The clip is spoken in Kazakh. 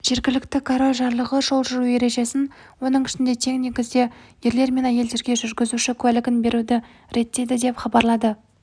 жергілікті король жарлығы жол жүру ережесін оның ішінде тең негізде ерлер мен әйелдерге жүргізуші куәлігін беруді реттейді деп хабарлады